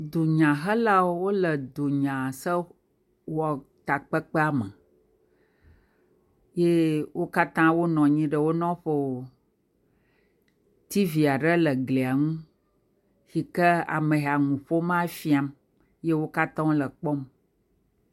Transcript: Dunyahelawo wole dunya sewɔtakpekpea me, ye wo katã wonɔ anyi ɖe wo nɔƒewo, tivi aɖe le eglia ŋu si kea me yi nu ƒomaa fiam, ye wo katã wole kpɔm.